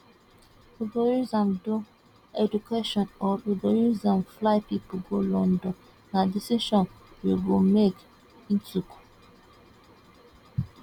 we go use am do education or we go use am fly pipo go london na decision you go make e tok